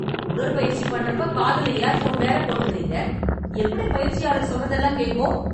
உடற்பயிற்சி பண்றப்ப காதுல இயர்போன் வேற போட்டுக்கறீங்க, எப்படி பயிற்சியாளர் சொல்றதெல்லாம் கேட்கும்?